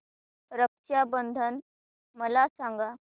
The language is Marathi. रक्षा बंधन मला सांगा